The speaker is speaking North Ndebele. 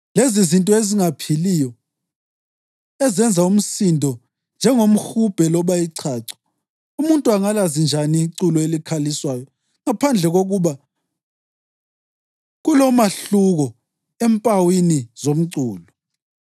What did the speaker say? Lezizinto ezingaphiliyo ezenza umsindo njengomhubhe loba ichacho, umuntu angalazi njani iculo elikhaliswayo ngaphandle kokuba kulomahluko empawini zomculo?